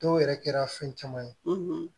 Dɔw yɛrɛ kɛra fɛn caman ye